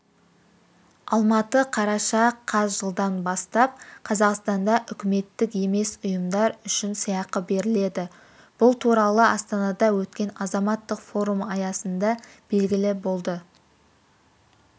алматы қараша қаз жылдан бастап қазақстанда үкіметтік емес ұйымдар үшін сыйақы беріледі бұл туралы астанада өткен азаматтық форум аясында белгілі болды